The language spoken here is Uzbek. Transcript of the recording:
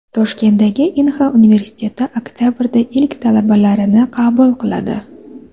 Toshkentdagi Inha universiteti oktabrda ilk talabalarini qabul qiladi.